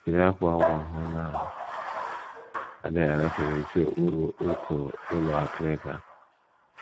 Jiri ákwà ụmụ ahụhụ na - adịghị agafe mechie okpuru uko ụlọ akịrịka.